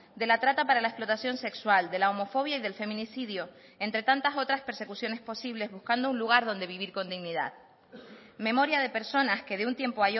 de la trata para la explotación sexual de la homofobia y del feminicidio entre tantas otras persecuciones posibles buscando un lugar donde vivir con dignidad memoria de personas que de un tiempo